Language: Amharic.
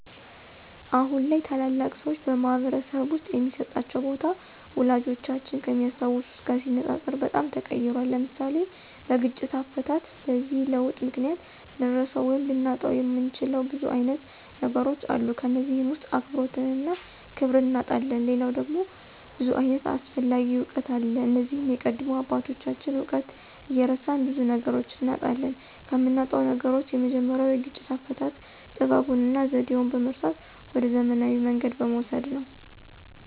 አሁን ላይ ታላላቅ ሰዎች በማኅበረሰብ ውስጥ የሚሰጣቸው ቦታ፣ ወላጆቻችን ከሚያስታውሱት ጋር ሲነጻጸር በጣም ተቀይሯል። (ለምሳሌ፦ በግጭት አፈታት) በዚህ ለውጥ ምክንያት ልንረሳው ወይም ልናጣው የምንችለው ብዙ አይነት ነገሮች አሉ ከነዚህም ውስጥ አክብሮትንና ክብርን እናጣለን ሌላው ነገር ደግሞ ብዙ ዓይነት አስፈላጊ እውቀት አለ እነዚህም የቀደሙ አባቶችን እውቀት እየረሳን ብዙ ነገሮችን እናጣለን። ከምናጣው ነገሮች የመጀመሪያው የግጭት አፈታት ጥበቡንና ዘዴውን በመርሳት ወደ ዘመናዊ መንገድ በመውሰድ ነው።